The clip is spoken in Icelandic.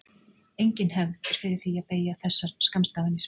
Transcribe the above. Engin hefð er fyrir því að beygja þessar skammstafanir.